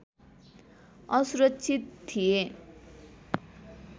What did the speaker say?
असुरक्षित थिए